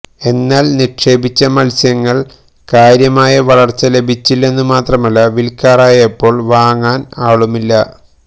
എന്നാൽ നിക്ഷേപിച്ച മത്സ്യങ്ങൾക്ക് കാര്യമായ വളർച്ച ലഭിച്ചില്ലെന്നു മാത്രമല്ല വിൽക്കാറായപ്പോൾ വാങ്ങാൻ ആളുമില്ല